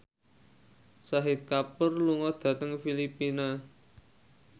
Shahid Kapoor lunga dhateng Filipina